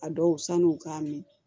A dɔw sanu k'a min